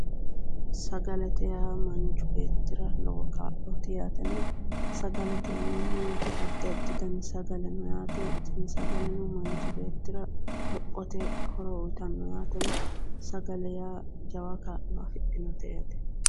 Sagalete yineemot manichi beetira lowo kaa'loti yaatena sagalete yineemot addi additi dani sagale no yaate tini sagaleno manichi beetira lopgote horo uyitanno yaatena sagale yaa jawa kaa'lo afidhinote yaate